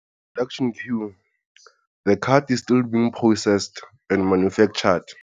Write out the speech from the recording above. Production queue - The card is still being processed and manufactured.